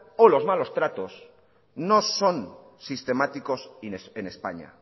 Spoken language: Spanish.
o los malos tratos no son sistemáticos en españa